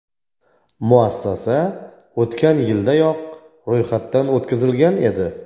Muassasa o‘tgan yildayoq ro‘yxatdan o‘tkazilgan edi.